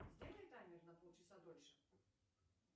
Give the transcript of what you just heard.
сделай таймер на полчаса дольше